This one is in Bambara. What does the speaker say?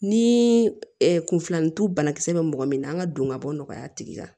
Ni kunfilantu banakisɛ bɛ mɔgɔ min na an ka don ka bɔ nɔgɔya tigi la